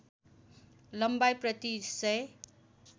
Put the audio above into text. लम्बाइ प्रति १००